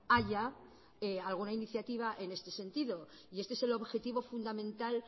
haya alguna iniciativa en este sentido y este es el objetivo fundamental